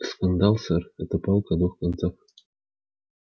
скандал сэр это палка о двух концах